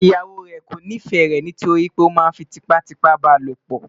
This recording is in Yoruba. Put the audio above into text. ìyàwó rè kò nifẹ rè ní torí oma fí tipa tipa balopo